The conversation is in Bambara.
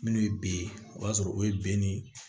Minnu ye b ye o b'a sɔrɔ o ye ben ni